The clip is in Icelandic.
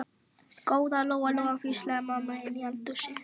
Góða Lóa Lóa, hvíslaði mamma inni í eldhúsi.